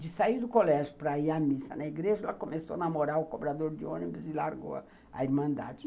De sair do colégio para ir à missa na igreja, ela começou a namorar o cobrador de ônibus e largou a a irmandade.